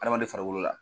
Adamaden farikolo la